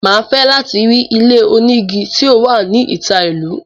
Màá fẹ́ láti rí ilé onígi tí ó wà ní ìta ìlú